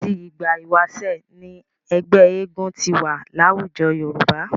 Láti ìgbà ìwáṣẹ̀ ni ẹgbẹ́ eégún ti wà láwùjọ Yorùbá.